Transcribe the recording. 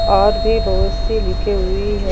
और भी बहुत सी लिखी हुई है।